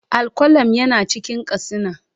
Al-qalam yana cikin katsina